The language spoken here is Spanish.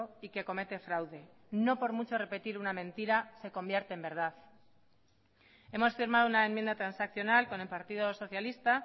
y que comete fraude no por mucho repetir una mentira se convierte en verdad hemos firmado una enmienda transaccional con el partido socialista